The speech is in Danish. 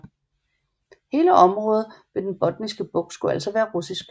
Hele området ved den Botniske Bugt skulle altså være russisk